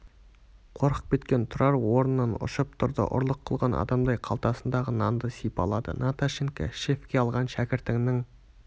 қорқып кеткен тұрар орнынан ұшып тұрды ұрлық қылған адамдай қалтасындағы нанды сипалады наташенька шефке алған шәкіртіңнің